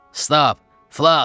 Stab, Flask!